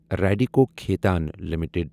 Radico Khaitan limited